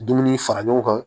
Dumuni fara ɲɔgɔn kan